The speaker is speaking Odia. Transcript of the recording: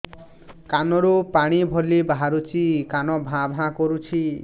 କାନ ରୁ ପାଣି ଭଳି ବାହାରୁଛି କାନ ଭାଁ ଭାଁ କରୁଛି